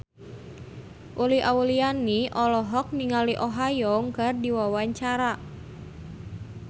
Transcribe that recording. Uli Auliani olohok ningali Oh Ha Young keur diwawancara